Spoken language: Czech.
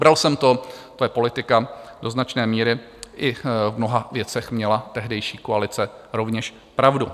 Bral jsem to, to je politika, do značné míry i v mnoha věcech měla tehdejší koalice rovněž pravdu.